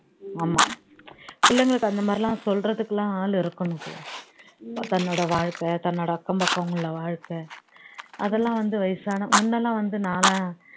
ஆமா பிள்ளைங்களுக்கு அந்த மாதிரி எல்லாம் சொல்றதுக்குலாம் ஆளு இருக்கணும் தன்னோட வாழ்க்கை தன்னோட அக்கம் பக்கம் உள்ள வாழ்க்கை அதெல்லாம் வந்து வயசான முன்னெல்லாம் வந்து நாளாம்